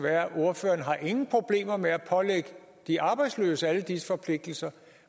at ordføreren ingen problemer har med at pålægge de arbejdsløse alle disse forpligtelser